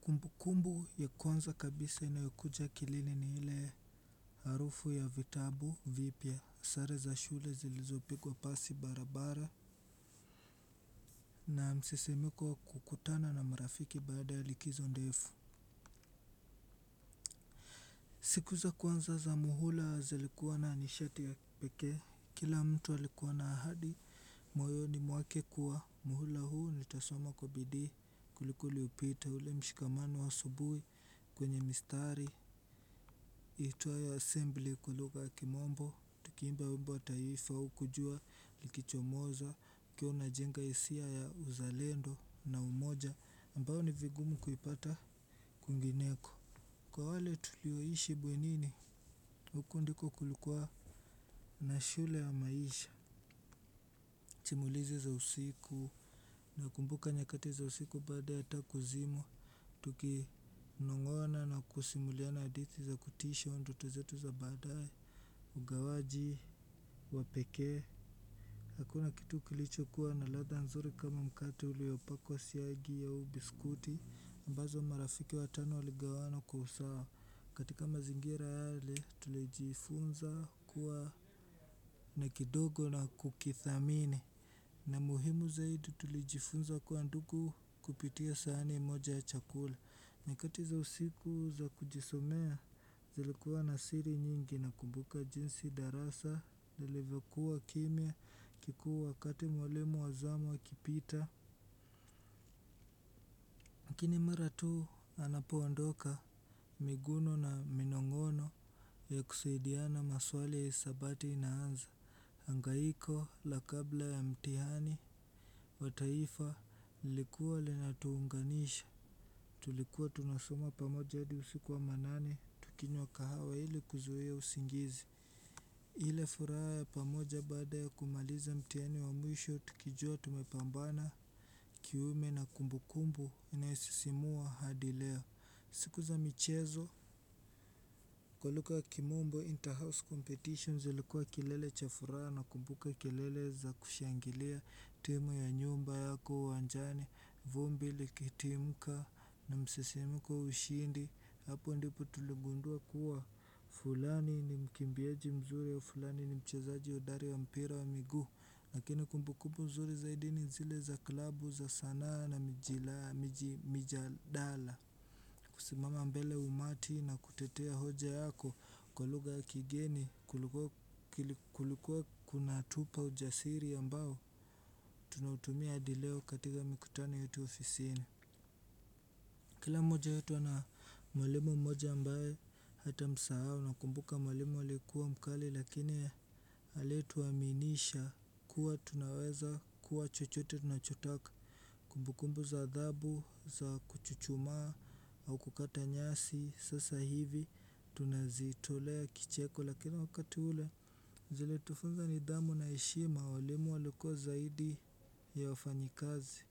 Kumbukumbu ya kwanza kabisa inayokuja akilini ni ile harufu ya vitabu vipya sare za shule zilizopigwa pasi barabara na msisimuko wa kukutana na marafiki baada ya likizo ndefu. Siku za kwanza za muhula zilikuwa na nishati ya peke, kila mtu alikuwa na ahadi, moyoni mwake kuwa, muhula huu nilitasoma kwa bidii kuliko uliopita ule mshikamano wa asubui kwenye mistari iitwayo assembly kwa lugha ya kimombo, tukiimba wimbo wa taifa huku jua likicho moza, ukiwa una jenga hisia ya uzalendo na umoja, ambao ni vigumu kuipata kwingineko. Kwa wale tulioishi bwenini, huku ndiko kulikuwa na shule ya maisha. Chimulizi za usiku, na kumbuka nyakati za usiku baada ya taa kuzimwa. Tuki nong'ona na kusimuliana hadithi za kutisha ndoto zetu za baadae. Ugawaji, wapekee. Hakuna kitu kilicho kuwa na latha nzuri kama mkate uliopakwa siagi au biskuti ambazo marafiki watano waligawana kwa usawa. Katika mazingira yale tulijifunza kuwa na kidogo na kukithamini. Na muhimu zaidi tulijifunza kuwa ndugu kupitia sahani moja ya chakula. Nyakati za usiku za kujisomea zilikuwa na siri nyingi na kumbuka jinsi darasa lilivyokuwa kimya kikuu wakati mwalimu wazamu a kipita lakini mara tuu anapoondoka miguno na minong'ono ya kusaidiana maswali ya hisabati ina anza. Angaiko la kabla ya mtihani wa taifa lilikuwa lina tuunganisha. Tulikuwa tunasoma pamoja hadi usiku wa manane tukinywa kahawa ili kuzuia usingizi. Ile furaha ya pamoja baada ya kumaliza mtihani wa mwisho tukijua tumepambana kiume na kumbu kumbu inayosisimua hadileo. Siku za michezo kwa lugha ya kimombo interhouse competition zilikuwa kilele cha furaha na kumbuka kelele za kushangilia timu ya nyumba yako uwanjani vumbi likitimka na msisimuko ushindi hapo ndipo tuligundua kuwa fulani ni mkimbiaji mzuri fulani ni mchezaji hodari wa mpira wa miguu. Lakini kumbukumbu nzuri zaidi ni zile za klabu za saa nane mijadala. Kusimama mbele umati na kutetea hoja yako kwa lugha ya kigeni kulikuwa kuna tupa ujasiri ambao tunautumia hadileo katika mikutano yetu ofisini. Kila mmoja wetu ana mwalimu mmoja ambae hata msahau na kumbuka mwalimu alikuwa mkali lakini alituaminisha kuwa tunaweza kuwa chochote tunachotaka. Kumbukumbu za adhabu za kuchuchumaa au kukata nyasi sasa hivi tunazitolea kicheko lakini wakati ule. Zili tufunza ni dhamu na heshima walimu walikuwa zaidi ya wafanyikazi.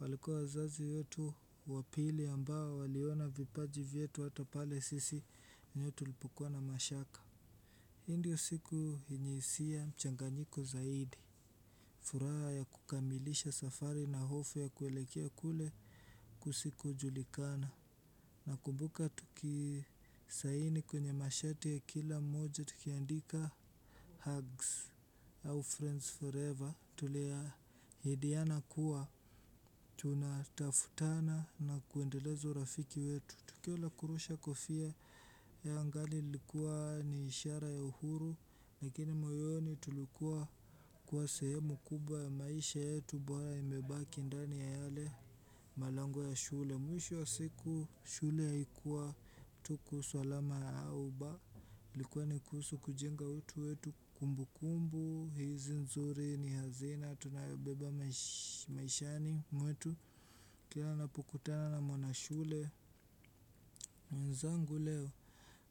Walikuwa wazazi wetu wapili ambao waliona vipaji vyetu hatapale sisi wenyewe tu lipokuwa na mashaka hii ndio siku yenye hisia mchanganyiko zaidi. Furaha ya kukamilisha safari na hofu ya kuelekea kule kusiko julikana. Na kumbuka tukisaini kwenye mashati ya kila moja tukiandika hugs Our friends forever. Tulia hidiana kuwa tuna tafutana na kuendeleza urafiki wetu. Tukio la kurusha kofia la angali lilikuwa ni ishara ya uhuru. Lakini moyoni tulikuwa kuwa sehemu kubwa ya maisha yetu Bwayo imebaki ndani ya yale malango ya shule. Mwisho wa siku shule haikuwa tuku swalama ya uba ilikuwa nikuhusu kujenga utu wetu kumbu kumbu. Hizi nzuri ni hazina, tunayobeba maishani mwetu. Kila napokutana na mwana shule nzangu leo,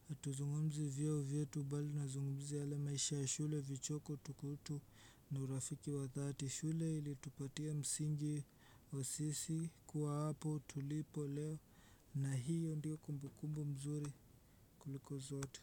hatuzungumzi vyeo vyetu bali na zungumzia yale maisha ya shule vichoko tukutu. Na urafiki wa thati shule ili tupatia msingi wa sisi kuwa hapo tulipo leo. Na hiyo ndiyo kumbukumbu mzuri kuliko zote.